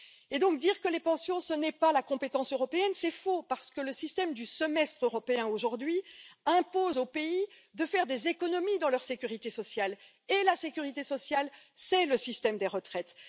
Et donc, dire que les pensions ne relèvent pas de la compétence européenne, c'est faux parce que le système du Semestre européen, aujourd'hui, impose aux pays de faire des économies dans leur sécurité sociale. Et la sécurité sociale, c'est le système des retraites.